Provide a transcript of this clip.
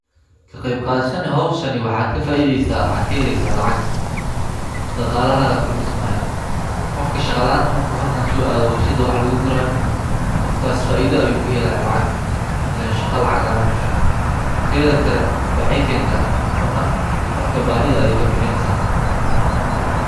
Kaqeeyb qadhashada hoowshani waxad kafaaidheysa waxad kaheleeysa lacag dhaqaalahaga kordhismaayo qofka shaqo la'anta marka meeshan so aado warshadha wax laguguraayo qofkaas faaidho ayu kahelaaya lacag ileen shaqo lacag la'an majirto teedha kale waxey keenta cunno qofka baahidha ayeey kabixineeysa